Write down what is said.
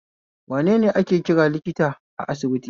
Wanene ake kira likita a asibiti?